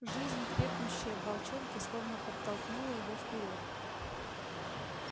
жизнь крепнущая в волчонке словно подтолкнула его вперёд